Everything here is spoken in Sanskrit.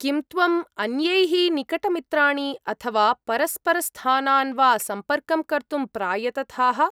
किं त्वम् अन्यैः निकटमित्राणि अथवा परस्परस्थानान् वा सम्पर्कं कर्तुं प्रायतथाः?